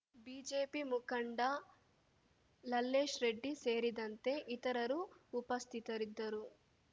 BJP ಮುಖಂಡ ಲಲ್ಲೇಶ್‌ ರೆಡ್ಡಿ ಸೇರಿದಂತೆ ಇತರರು ಉಪಸ್ಥಿತರಿದ್ದರು